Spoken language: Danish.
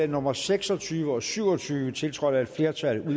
nummer seks og tyve og syv og tyve tiltrådt af et flertal